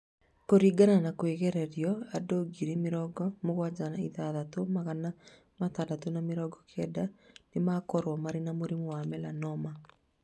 Kũringana na kwĩgererio, andũ ngiri mĩrongo mũgwanja na ithathatũ magana matandatũ ma mĩrongo kenda nĩ makorũo marĩ na mũrimũ wa melanoma.